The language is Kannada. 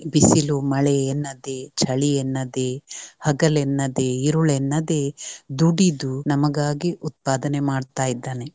ಬಿಸಿಲು, ಮಳೆ ಎನ್ನದೇ ಚಳಿ ಎನ್ನದೇ ಹಗಳೆನ್ನದೇ, ಇರುಳೆನ್ನದೇ ದುಡಿದು ನಮಗಾಗಿ ಉತ್ಪಾದನೆ ಮಾಡ್ತಾ ಇದ್ದಾನೆ.